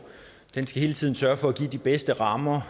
den skal hele tiden sørge for at give de bedste rammer